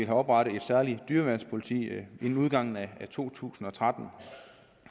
oprettet et særligt dyreværnspoliti inden udgangen af to tusind og tretten